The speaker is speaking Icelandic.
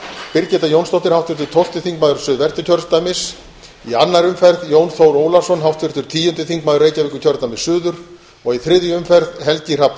birgitta jónsdóttir háttvirtur tólfti þingmaður suðvesturkjördæmis í annarri umferð jón þór ólafsson háttvirtur tíundi þingmaður reykjavíkurkjördæmis suður og í þriðju umferð helgi hrafn